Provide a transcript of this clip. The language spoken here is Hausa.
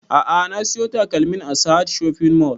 A'a na siyo takalmin a sahad shopping mall